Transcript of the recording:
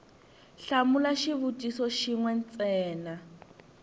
hlamula xivutiso xin we ntsena